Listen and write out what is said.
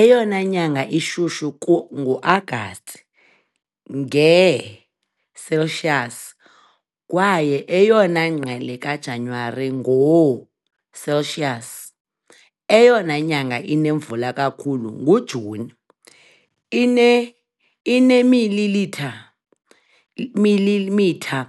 Eyona nyanga ishushu nguAgasti, ngee-Celsius, kwaye eyona ngqele kaJanuwari, ngoo-Celsius. Eyona nyanga inemvula kakhulu nguJuni, ine ineemililitha milimitha